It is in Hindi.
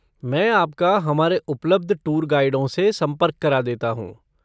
मैं आपका हमारे उपलब्ध टूर गाइडों से संपर्क करा देता हूँ।